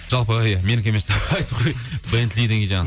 жалпы иә менікі емес деп айтып қой бентли деген жаңа